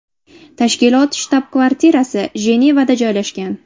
Tashkilot shtab-kvartirasi Jenevada joylashgan.